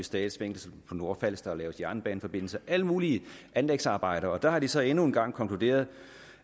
statsfængsel på nordfalster og laves jernbaneforbindelser alle mulige anlægsarbejder og der har de så endnu en gang konkluderet